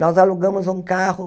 Nós alugamos um carro.